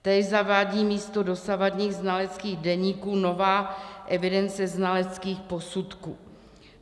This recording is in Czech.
Též zavádí místo dosavadních znaleckých deníků novou evidenci znaleckých posudků.